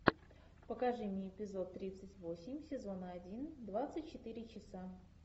покажи мне эпизод тридцать восемь сезона один двадцать четыре часа